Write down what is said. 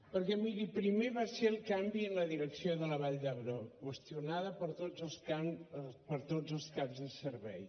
perquè miri primer va ser el canvi en la direcció de la vall d’hebron qüestionada per tots els caps de servei